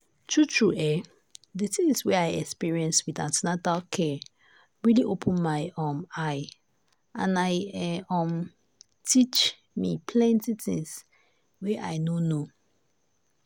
true true[um]the things wey i experience with an ten atal care really open my um eye and i e um teach me plenty things wey i no know.